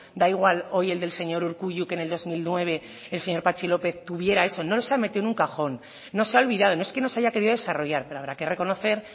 da igual hoy el del señor urkullu que en el dos mil nueve el señor patxi lópez tuviera eso no los ha metido en un cajón no se ha olvidado no es que no se haya querido desarrollar pero habrá que reconocer